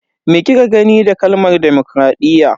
Me kika gane da kalmar demokradiyya?